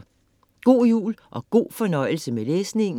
God jul og god fornøjelse med læsningen.